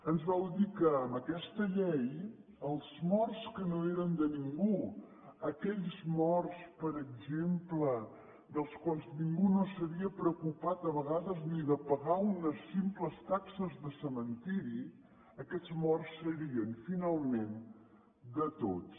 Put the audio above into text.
ens vau dir que amb aquesta llei els morts que no eren de ningú aquells morts per exemple dels quals ningú no s’havia preocupat a vegades ni de pagar unes simples taxes de cementiri aquests morts serien finalment de tots